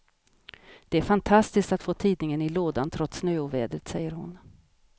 Det är fantastiskt att få tidningen i lådan trots snöovädret, säger hon.